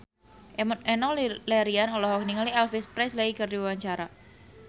Enno Lerian olohok ningali Elvis Presley keur diwawancara